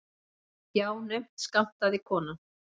Já, naumt skammtaði konan.